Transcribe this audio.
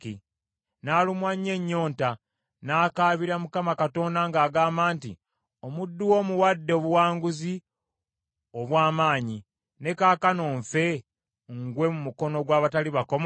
N’alumwa nnyo ennyonta, n’akabira Mukama Katonda ng’agamba nti, “Omuddu wo omuwadde obuwanguzi olw’amaanyi; ne kaakano nfe, ngwe mu mukono gw’abatali bakomole?”